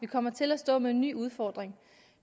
kommer til at stå med en ny udfordring